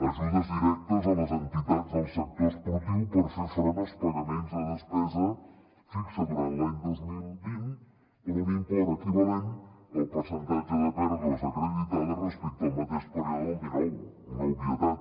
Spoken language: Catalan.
ajudes directes a les entitats del sector esportiu per fer front als pagaments de despesa fixa durant l’any dos mil vint per un import equivalent al percentatge de pèrdues acreditades respecte al mateix període del dinou una obvietat